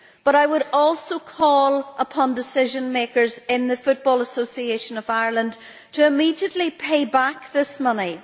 I would also call upon decision makers in the Football Association of Ireland to immediately pay back this money.